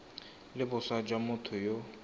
le boswa jwa motho yo